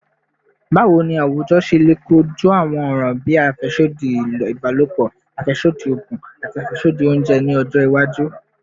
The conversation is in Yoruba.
Bawo ni awujọ ṣe le koju awọn ọran bii afẹsodi ibalopọ, afẹsodi oogun, ati afẹsodi ounjẹ ni ọjọ iwaju?